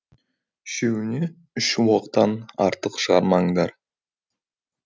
үшеуіне үш оқтан артық шығармаңдар